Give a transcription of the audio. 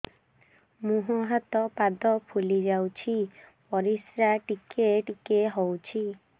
ମୁହଁ ହାତ ପାଦ ଫୁଲି ଯାଉଛି ପରିସ୍ରା ଟିକେ ଟିକେ ହଉଛି